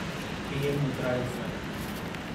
PM Mudra Yojana